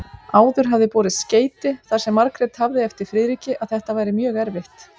Áður hafði borist skeyti þar sem Margrét hafði eftir Friðriki að þetta væri mjög erfitt.